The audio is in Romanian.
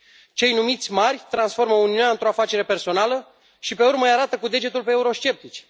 Cei numiți mari transformă Uniunea într o afacere personală și pe urmă îi arată cu degetul pe eurosceptici.